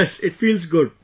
Yes, it feels good